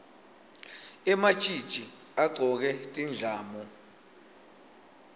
ematjitji agcoke tindlamu